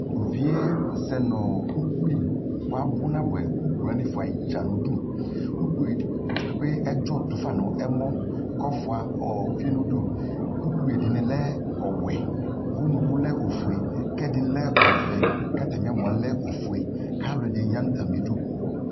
To luvie sɛ ukoi ko abu nabuɛUkpi wane fuae dza niduUkpi ɛde kpekpe ɛdzɔ tofa no ɛmɔ kofua uvie nuduUkpi de ne lɛ ɔwɛ, unuku lɛ ofue kɛde ne lɛ ɔvɛ ka atane ɛmɔɛ lɛ ofueAlɛde ne ya no atame du